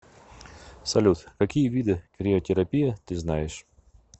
салют какие виды криотерапия ты знаешь